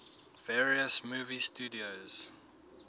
various movie studios